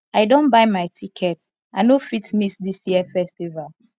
i don buy my ticket i no fit miss dis year festival